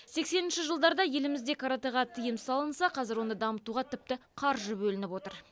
сексенінші жылдарда елімізде кратэға тиым салынса қазір оны дамытуға тіпті қаржы бөлініп отыр